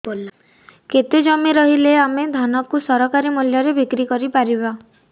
କେତେ ଜମି ରହିଲେ ଆମେ ଧାନ କୁ ସରକାରୀ ମୂଲ୍ଯରେ ବିକ୍ରି କରିପାରିବା